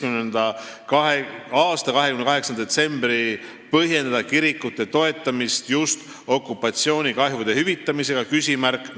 28. detsembril põhjendada kirikute toetamist just okupatsioonikahjude hüvitamisega?